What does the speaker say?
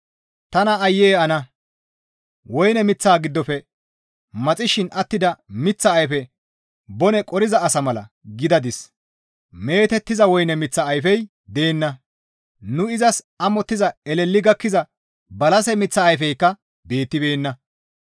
Tana aayye ana! Woyne miththa giddofe maxishin attida miththa ayfe bone qoriza asa mala gidadis; meetettiza woyne miththa ayfey deenna; nu izas amottiza eleli gakkiza balase miththa ayfeykka beettibeenna.